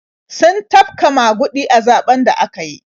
Sun tafka maguɗi a zaɓen da aka yi.